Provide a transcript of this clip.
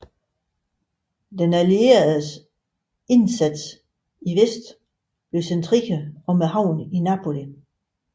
Den allierede indsats i vest blev centreret om havnen i Napoli